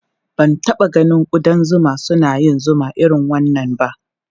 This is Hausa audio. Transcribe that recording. Ba ta taɓa ganin ƙudan zuma suna yin zuma irin wannan ba.